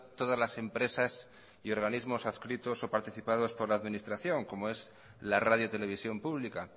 todas las empresas y organismos adscritos o participados por la administración como es la radiotelevisión pública